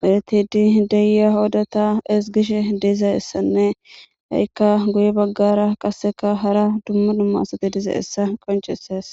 medhetidi de'a oda esigishe dizayisanee ha'ika guye bagara hara duma duma asati dizayisa qonicises